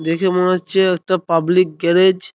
দেখে মনে হচ্ছে একটা পাবলিক গ্যরেজ ।